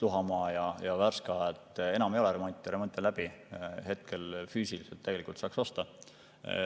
Luhamaa ja Värska – seal enam ei ole remonti, remont on läbi ja hetkel füüsiliselt tegelikult saaks osta.